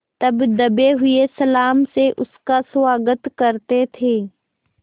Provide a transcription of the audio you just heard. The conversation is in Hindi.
तब दबे हुए सलाम से उसका स्वागत करते थे